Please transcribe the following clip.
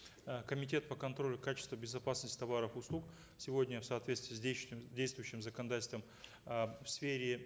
э комитет по контролю качества безопасности товаров и услуг сегодня в соответствии с действующим законодательстовм э в сфере